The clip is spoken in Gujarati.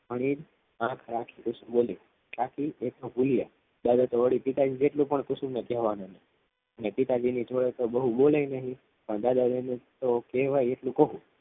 બોલી કુસુમ બોલી કાકી એક કબૂલ્યા દાદા તો વળી પિતા જેટલું કુસુમને કહેવાનું નહીં અને પિતાજી ની જોડે તો બવ બોલે નહીં પણ દાદા જોડે તો કહેવાય એટલું કવ